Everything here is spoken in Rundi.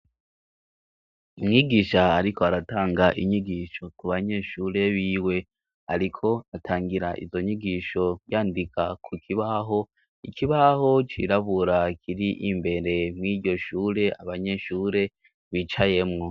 Umwigisha ariko aratanga inyigisho ku banyeshure biwe ariko atangira izo nyigisho yandika ku kibaho ikibaho cirabura kiri imbere mw'ishure abanyeshure bicayemwo.